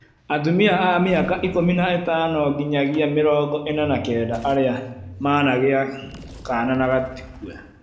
Atumia a mĩaka ikũmi na ĩtano nginyagia mĩrongo ĩna na kenda arĩa managĩa kana na gatikue